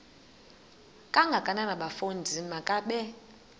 kangakanana bafondini makabe